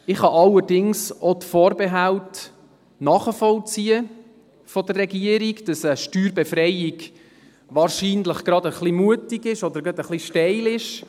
Ich kann allerdings auch die Vorbehalte der Regierung nachvollziehen, wonach eine Steuerbefreiung wahrscheinlich gerade ein wenig mutig oder gerade ein wenig steil ist.